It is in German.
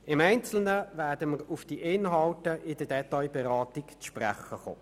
Auf die Inhalte werden wir bei der Detailberatung im Einzelnen zu sprechen kommen.